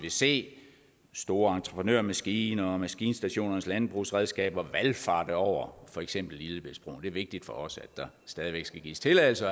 se store entreprenørmaskiner og maskinstationers landbrugsmaskiner valfarte over for eksempel lillebæltsbroen det er vigtigt for os at der stadig væk skal gives tilladelse